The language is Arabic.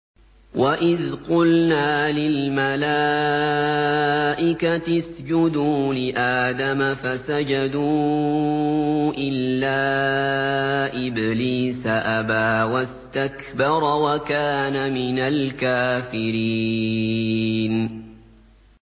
وَإِذْ قُلْنَا لِلْمَلَائِكَةِ اسْجُدُوا لِآدَمَ فَسَجَدُوا إِلَّا إِبْلِيسَ أَبَىٰ وَاسْتَكْبَرَ وَكَانَ مِنَ الْكَافِرِينَ